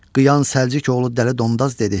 Qıyan Səlcik oğlu Dəli Dondaz dedi.